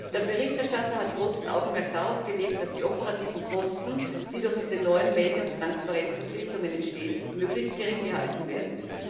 Der Berichterstatter hat großes Augenmerk darauf gelegt, dass die operativen Kosten, die durch diese neuen Melde und Transparenzverpflichtungen entstehen, möglichst gering gehalten werden.